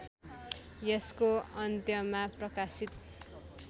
यसको अन्त्यमा प्रकाशित